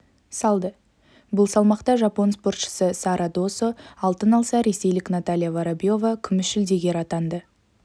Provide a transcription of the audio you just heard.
салды бұл салмақта жапон спортшысы сара досо алтын алса ресейлік наталья воробьева күміс жүлдегер атанды